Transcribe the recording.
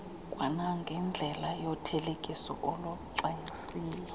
kwanangendlela yothelekiso olucwangciswe